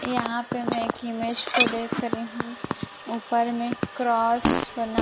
यहां पे मैं एक इमेज को देख रही हूं ऊपर में क्रॉस बना--